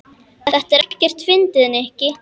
Þetta er ekkert fyndið, Nikki.